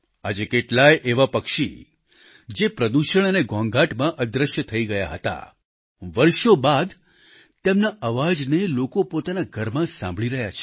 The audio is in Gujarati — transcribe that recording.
આજે કેટલાય એવા પક્ષી જે પ્રદૂષણ અને ઘોંઘાટમાં અદ્રશ્ય થઈ ગયા હતા વર્ષો બાદ તેમના અવાજને લોકો પોતાના ઘરમાં સાંભળી રહ્યા છે